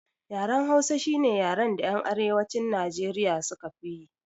Yaren hausa shine yaran da yan arewacin nijeriya suka fiyi